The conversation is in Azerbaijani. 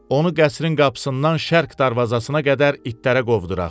Onu qəsrin qapısından şərq darvazasına qədər itlərə qovduraq.